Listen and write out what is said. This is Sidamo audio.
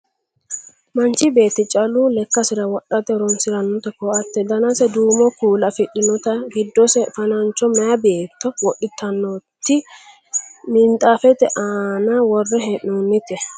manchi beetti callu lekkasira wodhate horonsirannoti ko"atte danase duumo kuula afidhinnoti giddose fanancho maye beetto wodhitannoti minxaafete aana worre hee'noonnite